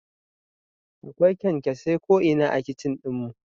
Akwai kyankyasai ko'ina a kicin ɗin mu